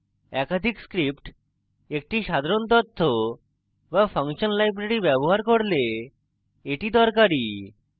একাধিক scripts একটি সাধারণ তথ্য বা ফাংশন library ব্যবহার করলে এটি দরকারী